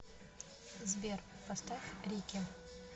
сбер поставь рики